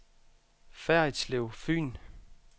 Ferritslev Fyn